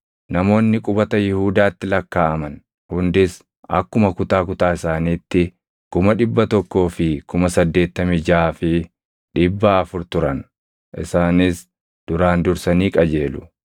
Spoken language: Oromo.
Namoonni qubata Yihuudaatti lakkaaʼaman hundis akkuma kutaa kutaa isaaniitti 186,400 turan. Isaanis duraan dursanii qajeelu.